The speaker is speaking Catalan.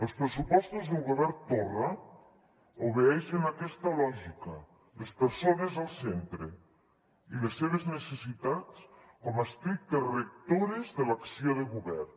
els pressupostos del govern torra obeeixen a aquesta lògica les persones al centre i les seves necessitats com a estrictes rectores de l’acció de govern